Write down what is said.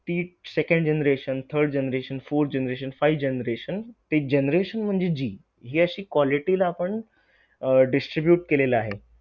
जावळ्यांनी बुरशीच्या प्रादुर्भाव वाढल्यास त्यांचा पत्यांम वाढण्याबरोबर लागत नाही